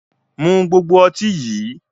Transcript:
Mu gbogbo ọtí yí!